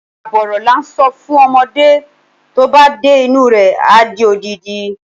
Àbọ̀ ọ̀rọ̀ làá ń sọ fún ọmọdé, tóba dé inú rẹ adi odidi.